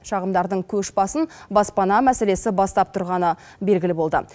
шағымдардың көш басын баспана мәселесі бастап тұрғаны белгілі болды